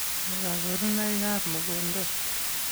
Nee kabarunoikab mogondo ?